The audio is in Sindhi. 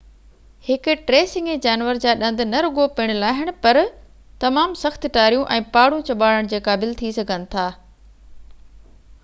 هڪ ٽي سنگهي جانور جا ڏند نه رڳو پڻ لاهڻ پر تمام سخت ٽاريون ۽ پاڙون ڄٻاڙڻڻ جي قابل ٿي سگهن ٿا